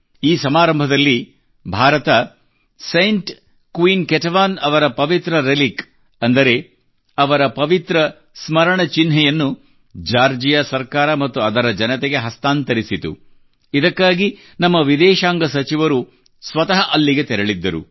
ಈ ಸಮಾರಂಭದಲ್ಲಿ ಭಾರತವು Saint Queen Ketevan Saint Queen Ketevan ಅವರ ಪವಿತ್ರ ರೆಲಿಕ್ ಹಾಲಿ ರೆಲಿಕ್ ಅಂದರೆ ಅವರ ಪವಿತ್ರ ಸ್ಮರಣ ಚಿಹ್ನೆಯನ್ನು ಜಾರ್ಜಿಯಾ ಸರ್ಕಾರ ಮತ್ತು ಅದರ ಜನತೆಗೆ ಹಸ್ತಾಂತರಿಸಿತು ಇದಕ್ಕಾಗಿ ನಮ್ಮ ವಿದೇಶಾಂಗ ಸಚಿವರು ಸ್ವತಃ ಅಲ್ಲಿಗೆ ತೆರಳಿದ್ದರು